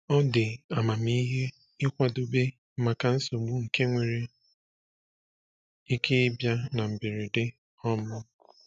Ọ dị amamihe ịkwadebe maka nsogbu nke nwere ike ịbịa na mberede. um